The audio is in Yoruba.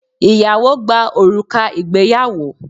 Ìyàwó gba òrùka ìgbéyàwó